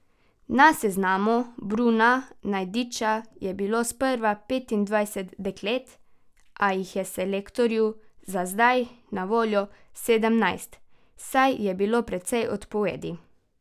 Na seznamu Bruna Najdiča je bilo sprva petindvajset deklet, a jih je selektorju za zdaj na voljo sedemnajst, saj je bilo precej odpovedi.